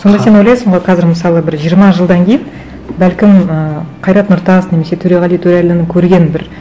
сонда сен ойласың ғой қазір мысалы бір жиырма жылдан кейін бәлкім ыыы қайрат нұртас немесе төреғали төреәліні көрген бір